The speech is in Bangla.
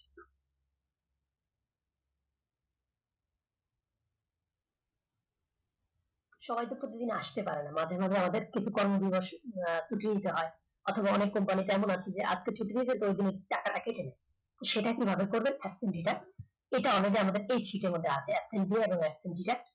সবাই ত প্রতিদিন আসতে পারে না মাঝে মাঝে আমাদের কিছু কর্ম দিবস ছুটি দিতে হয় অথবা অনেক company তে এমন আছে যে আজকে ছুটি দিয়েছে তো ওই দিনের টাকাটা কেটে নেবে। সেটা কিভাবে করবেন এটা আমাদের এই sheet র মধ্যে আছে